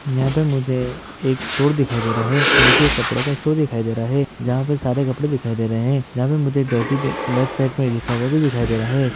यहां पर मुझे एक स्टोर दिखाई दे रहा है जोकि कपड़े का स्टोर दिखाई दे रहा है जहां पे सारे कपड़े दिखाई दे रहा है जहा पर मुझे जॉकी लेफ्ट साइड में लिखा हुआ भी दिखाई दे रहा है।